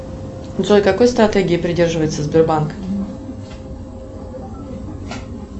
джой какой стратегии придерживается сбербанк